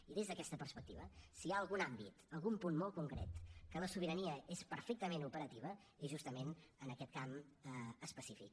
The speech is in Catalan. i des d’aquesta perspectiva si hi ha algun àmbit algun punt molt concret que la sobirania és perfectament operativa és justament en aquest camp específic